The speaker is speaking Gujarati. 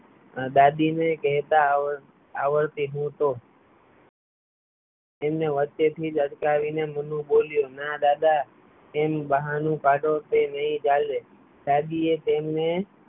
દાદી ને કહેતા આવડતી હું તો તેમને વચ્ચે થી અટકાવી ને મોનું બોલ્યો દાદી એ તેમને